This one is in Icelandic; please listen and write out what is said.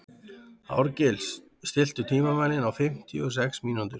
Árgils, stilltu tímamælinn á fimmtíu og sex mínútur.